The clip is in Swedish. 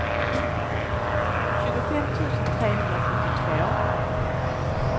tjugofem tusen trehundrasjuttiotvå